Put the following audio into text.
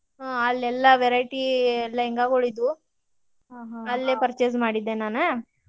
ಹ್ಮ್ ಅಲ್ಲೆಲ್ಲ variety lehanga ಗುಳ್ ಇದ್ವು ಅಲ್ಲೆ purchase ಮಾಡಿದ್ದೆ ನಾನ್.